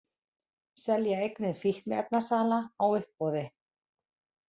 Selja eignir fíkniefnasala á uppboði